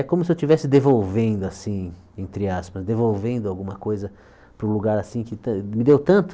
É como se eu estivesse devolvendo assim, entre aspas, devolvendo alguma coisa para o lugar assim que me deu tanto.